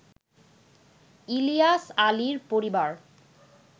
ইলিয়াস আলীর পরিবার